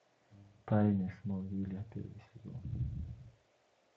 тайны смолвиля первый сезон